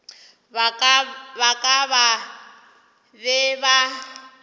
ba ka ba be ba